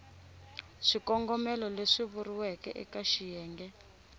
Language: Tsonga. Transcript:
swikongomelo leswi vuriweke eka xiyenge